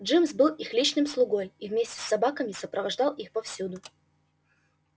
джимс был их личным слугой и вместе с собаками сопровождал их повсюду